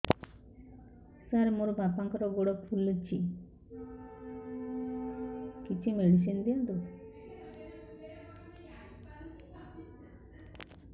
ସାର ମୋର ବାପାଙ୍କର ଗୋଡ ଫୁଲୁଛି କିଛି ମେଡିସିନ ଦିଅନ୍ତୁ